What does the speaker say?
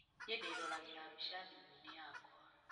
Nĩ ndĩroragĩra mbica thimũ-inĩ yakwa.